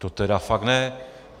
To tedy fakt ne!